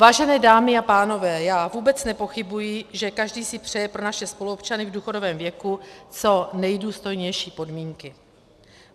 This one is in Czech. Vážené dámy a pánové, já vůbec nepochybuji, že každý si přeje pro naše spoluobčany v důchodovém věku co nejdůstojnější podmínky.